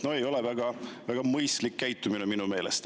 No see ei ole väga mõistlik käitumine minu meelest.